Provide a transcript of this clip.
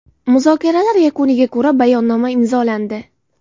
Muzokaralar yakuniga ko‘ra bayonnoma imzolandi.